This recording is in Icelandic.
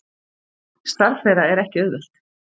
Starf þeirra er ekki auðvelt